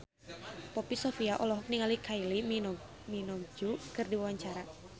Poppy Sovia olohok ningali Kylie Minogue keur diwawancara